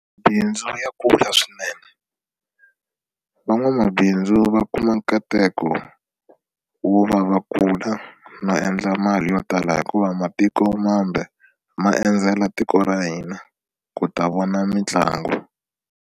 Mabindzu ya kula swinene van'wamabindzu va kuma nkateko wo va va kula no endla mali yo tala hikuva matiko mambe ma endzela tiko ra hina ku ta vona mitlangu.